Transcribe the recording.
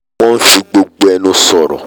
wọ́n n fi gbogbo ẹnu sọ̀rọ̀